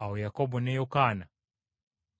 Awo Yakobo ne Yokaana,